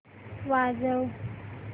वाजव